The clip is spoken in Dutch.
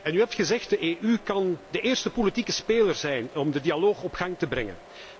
U heeft gezegd de EU kan de eerste politieke speler zijn om de dialoog op gang te brengen.